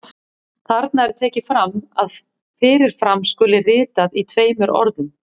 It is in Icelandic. Þarna er tekið fram að fyrir fram skuli ritað í tveimur orðum.